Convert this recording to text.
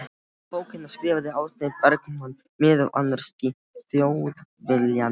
Um bókina skrifaði Árni Bergmann meðal annars í Þjóðviljann